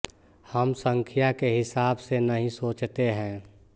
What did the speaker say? हम संख्या के हिसाब से नहीं सोचते हैं